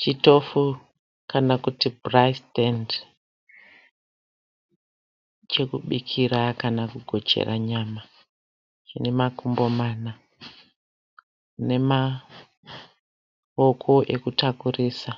Chitofu kana kuti bhurayi sitendi, chokubikira kana kugochera nyama. Chinemakumbo mana nemawoko ekutakurisa,